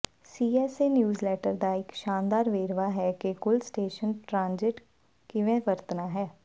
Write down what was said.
CSA newsletter ਦਾ ਇਕ ਸ਼ਾਨਦਾਰ ਵੇਰਵਾ ਹੈ ਕਿ ਕੁੱਲ ਸਟੇਸ਼ਨ ਟ੍ਰਾਂਜਿਟ ਕਿਵੇਂ ਵਰਤਣਾ ਹੈ